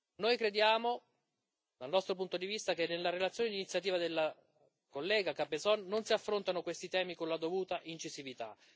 Noi crediamo dal nostro punto di vista che nella relazione di iniziativa dell'onorevole Cabezón non si affrontano questi temi con la dovuta incisività.